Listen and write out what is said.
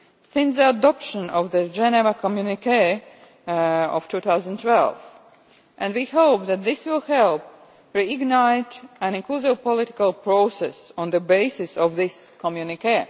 since the adoption of the Geneva Communiqué of 2012, and we hope that this will help reignite an inclusive political process on the basis of this Communiqué.